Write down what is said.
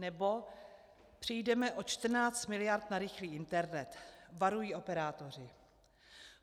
Nebo: Přijdeme o 14 mld. na rychlý internet, varují operátoři.